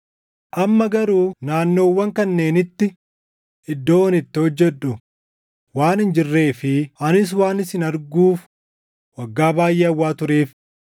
Amma garuu naannoowwan kanneenitti iddoon itti hojjedhu waan hin jirree fi anis waan isin arguuf waggaa baayʼee hawwaa tureef,